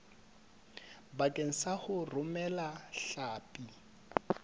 bakeng sa ho romela hlapi